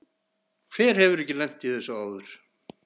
Hver hefur ekki lent í þessu áður?